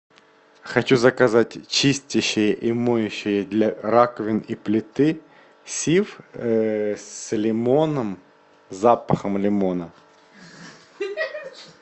хочу заказать чистящее и моющее для раковин и плиты сиф с лимоном запахом лимона